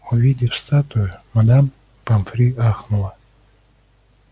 увидев статую мадам помфри ахнула